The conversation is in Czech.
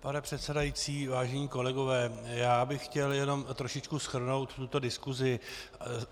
Pane předsedající, vážení kolegové, já bych chtěl jenom trošičku shrnout tuto diskusi.